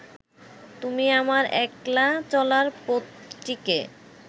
তুমি আমার একলা চলার পথটিকে